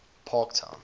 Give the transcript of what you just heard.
parktown